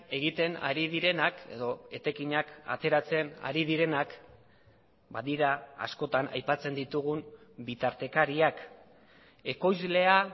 egiten ari direnak edo etekinak ateratzen ari direnak badira askotan aipatzen ditugun bitartekariak ekoizlea